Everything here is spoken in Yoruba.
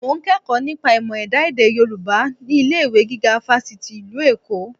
Mo ń kẹ́kọ̀ọ́ nípa ìmọ̀ ẹ̀dá èdè Yorùbá ní ilé-ìwé gíga Fáṣítì ìlú Èkó